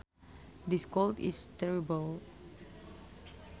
This cold is terrible